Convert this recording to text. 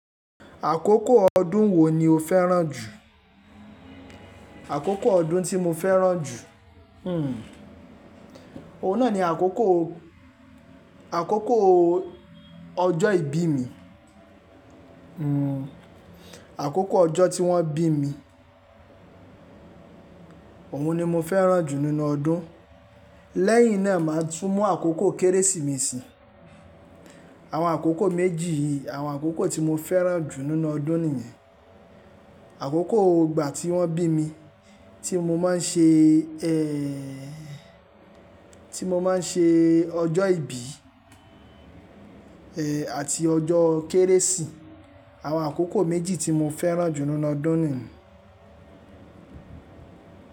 Àkókò ọdún wo ni o fẹ́ràn jù? Àkókò ọdún tí mo fẹ́ràn jù? Hmmm, òun náà ni àkókò, àkókò ọjọ́ ìbí mi. Hmmm àkókò ọjọ́ tí wọ́n bí mi, òun ni mo fẹ́ràn jù nínú ọdún. Lẹ́yìn náà, màá tún mú àkókò Kérésìmesì. Àwọn àkókò méjì yìí, àwọn àkókò tí mo fẹ́ràn jù nínú ọdún nìyẹn. Àkókò ìgbà tí wọ́n bí mi tí mo máa ń ṣe ẹ́, tí mo máa ń ṣe ọjọ́ ìbí, ẹ, àti ọjọ́ Kérésì. Àwọn àkókò méjì tí mo fẹ́ràn jù nínú ọdún nìyẹn.